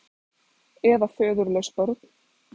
Eða föðurlaus börn.